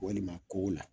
Walima kow la